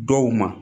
Dɔw ma